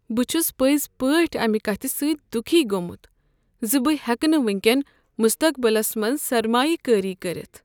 بہ چھُس پزۍ پٲٹھۍ امہِ كتھہِ سٕتۍ دُكھی گوٚمُت زِ بہٕ ہیکہٕ نہٕ ونکین مستقبلس منٛز سرمایہ کٲری کٔرتھ۔